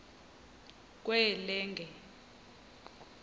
kwelenge